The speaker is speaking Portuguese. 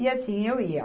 E assim eu ia.